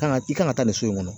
Kan ka i kan ka taa nin so in kɔnɔ